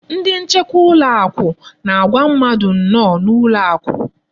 Ndị nchekwa ụlọakụ na-agwa mmadụ nnọọ n'ụlọakụ.